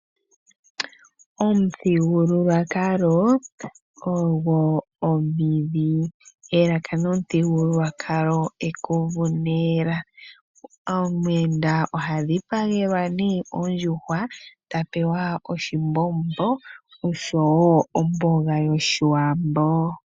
Omuthigululwakalo ogwo omidhi, elaka nomuthigululwakalo ekuvu nela . Omuyenda oha dhipagelwa nee ondjuhwa ye tapewa oshimbombo oshowo omboga yoshiwambo.